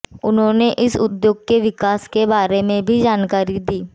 उन्होंने इस उद्योग के विकास के बारे में भी जानकारी दी